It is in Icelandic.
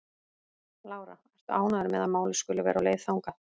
Lára: Ertu ánægður með að málið skuli vera á leið þangað?